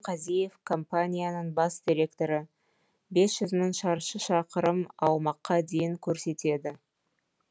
бағлан қазиев компанияның бас директоры бес жүз мың шаршы шақырым аумаққа дейін көрсетеді